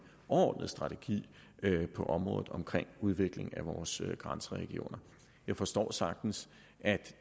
overordnet strategi på området for udvikling af vores grænseregioner jeg forstår sagtens at